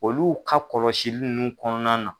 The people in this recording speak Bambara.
Olu ka kɔlɔsili nunnu kɔnɔna na.